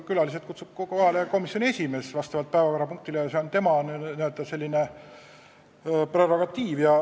Külalised kutsub kohale komisjoni esimees vastavalt päevakorrapunktile, see on tema n-ö prerogatiiv.